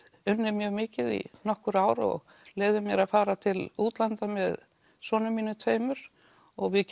unnið mjög mikið í nokkur ár og leyfði mér að fara til útlanda með sonum mínum tveimur og við